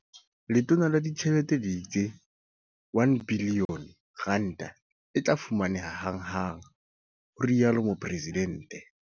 "Letona la Ditjhelete le itse R1 bilione e tla fumaneha hanghang," ho rialo Mopresidente.